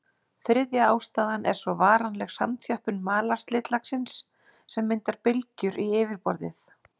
Þriðja ástæðan er svo varanleg samþjöppun malarslitlagsins sem myndar bylgjur í yfirborðið.